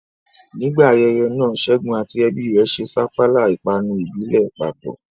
Nígbà ayẹyẹ náà, Ṣẹ́gun àti ẹbí rẹ̀ ṣe sapala, ìpanu ìbílẹ̀, papọ̀.